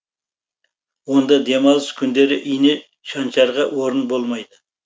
онда демалыс күндері ине шаншарға орын болмайды